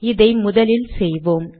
இதை முதலில் செய்வோம்